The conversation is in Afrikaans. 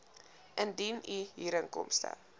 indien u huurinkomste